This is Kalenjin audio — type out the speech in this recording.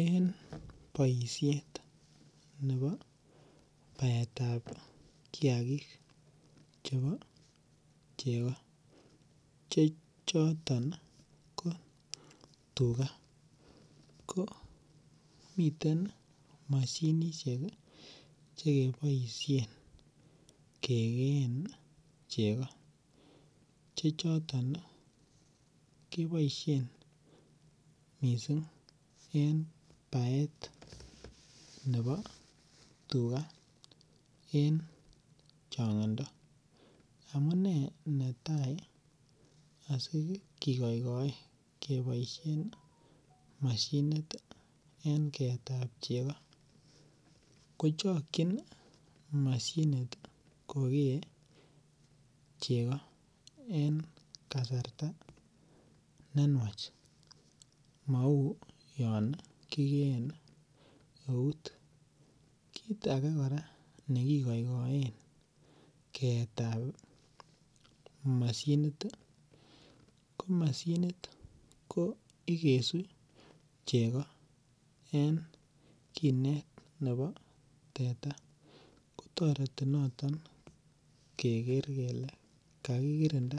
En boisiet nebo baetab kiakik chebo chego che choton ko tuga komiten moshinisiek che keboisien kegeen chego che choton keboisien mising en baet nebo tuga en chongindo. Amune netai asikigoigoe keboisin mashinit en keetab chego ko chokyin mashinit ko kee chego en kasarta ne nuach, mau yon kigeen eut. Kit age kora ne kigoigoen keetab mashinit, ko mashinit ko igesu chego en kinet nebo teta. Kotareti noto keger kele kakikirinda